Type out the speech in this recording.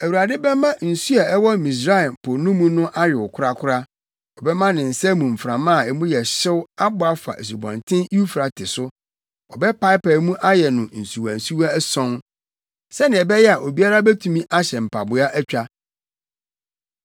Awurade bɛma nsu a ɛwɔ Misraim Po no mu ayow korakora; ɔbɛma ne nsa mu mframa a mu yɛ hyew abɔ afa Asubɔnten Eufrate so. Ɔbɛpaapae mu ayɛ no nsuwansuwa ason sɛnea ɛbɛyɛ a obiara betumi ahyɛ mpaboa atwa.